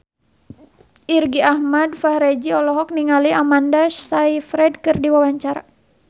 Irgi Ahmad Fahrezi olohok ningali Amanda Sayfried keur diwawancara